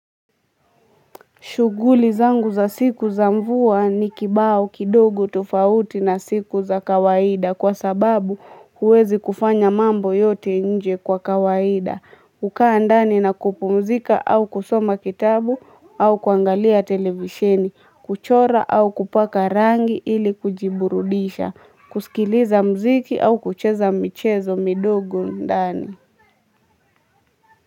Shughuli zangu za siku za mvua ni kibao kidogo tofauti na siku za kawaida kwa sababu huwezi kufanya mambo yote nje kwa kawaida. Hukaa ndani na kupumzika na kusoma au vitabu au kuangalia televisheni kuchora au kupaka rangi ili kujiburudisha kusikiliza muziki au kucheza michezo midogo ndani.